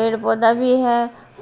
पेड़-पौधा भी है